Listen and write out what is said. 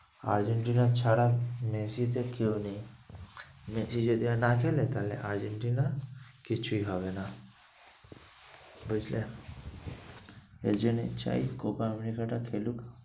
Argentina ছাড়া মেসিতে কেউ নেই মেসি যদি আর না খেলে তাহলে আর্জেন্টিনা কিছুই হবে না। বুঝলে? এর জন্যেই চাই copa america টা খেলুক